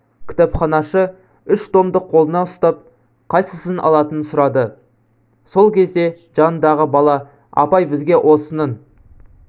кітапханашы үш томды қолына ұстап қайсысын алатынын сұрады сол кезде жанындағы бала апай бізге осының